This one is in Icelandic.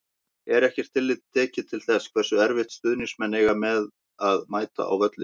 Er ekkert tillit tekið til þess hversu erfitt stuðningsmenn eiga með að mæta á völlinn?